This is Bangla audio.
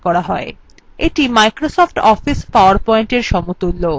এটি microsoft office powerpointএর সমতুল্য